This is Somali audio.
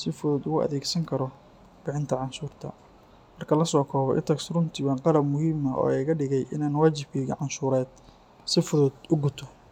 si fudud ugu adeegsan karo bixinta canshuurta. Marka la soo koobo, itax runtii waa qalab muhiim ah oo iga dhigay in aan waajibkayga canshuureed si fudud u guto.